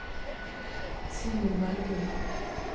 Simon Bergum